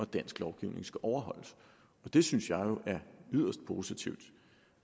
dansk lovgivning skal overholdes og det synes jeg jo er yderst positivt og